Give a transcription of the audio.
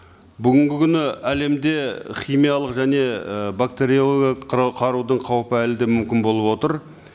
бүгінгі күні әлемде химиялық және і бактериологиялық қарудың қаупі әлі де мүмкін болып отыр